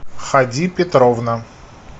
ходи петровна